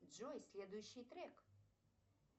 джой следующий трек